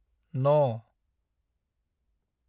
न